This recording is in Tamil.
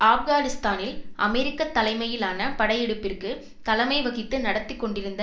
ஆப்கானிஸ்தானில் அமெரிக்க தலைமையிலான படையெடுப்பிற்கு தலைமை வகித்து நடத்தி கொண்டிருந்த